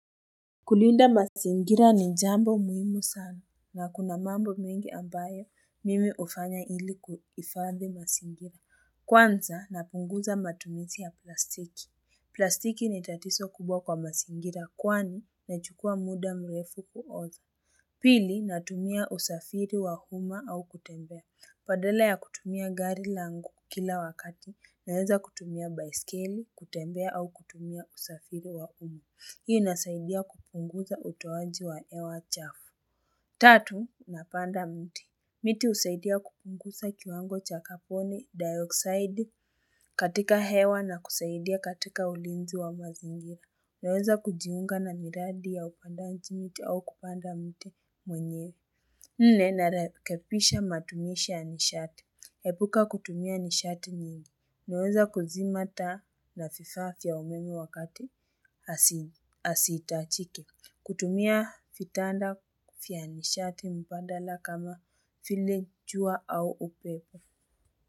Kulinda masingira ni jambo muhimu sana na kuna mambo mingi ambayo mimi hufanya ili kuhifadhi masingira kwanza napunguza matumisi ya plastiki. Plastiki ni tatizo kubwa kwa masingira kwani nachukua muda mrefu kuoza. Pili natumia usafiri wa uma au kutembea badala ya kutumia gari langu kila wakati, naweza kutumia baiskeli, kutembea au kutumia usafiri wa uma. Hii inasaidia kupunguza utowaji wa hewa chafu. Tatu, napanda mti. Miti husaidia kupunguza kiwango cha kaponi dioxide katika hewa na kusaidia katika ulinzi wa mazingira. Naweza kujiunga na miradi ya upandaji miti au kupanda mti mwenye. Nne na rekepisha matumisha nishati. Hebuka kutumia nishati nyingi. Naweza kuzima taa na fifaa vya meme wakati. Asi itachike. Kutumia fitanda vya nishati mbandala kama vile jua au upepo.